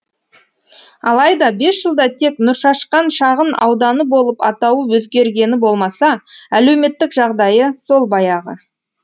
алайда бес жылда тек нұршашқан шағын ауданы болып атауы өзгергені болмаса әлеуметтік жағдайы сол баяғы